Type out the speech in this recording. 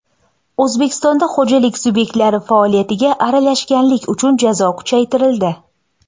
O‘zbekistonda xo‘jalik subyektlari faoliyatiga aralashganlik uchun jazo kuchaytirildi.